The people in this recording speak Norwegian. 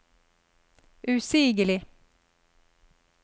usigelig